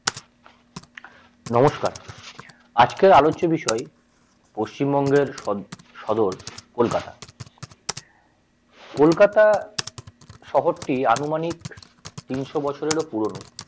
নমস্কার আজকের আলোচ্য বিষয় পশ্চিমবঙ্গের সদ সদর কলকাতা কলকাতা শহরটি আনুমানিক তিনশো বছরের পুরনো।